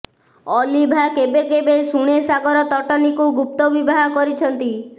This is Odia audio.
ଅଲିଭା କେବେ କେବେ ଶୁଣେ ସାଗର ତଟିନୀକୁ ଗୁପ୍ତ ବିବାହ କରିଛନ୍ତି